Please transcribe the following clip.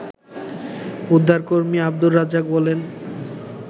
উদ্ধারকর্মী আবদুর রাজ্জাক বলেন